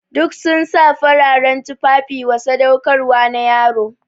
Duk sun sa fararen tufafi wa sadaukarwa na yaro.